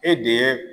E de ye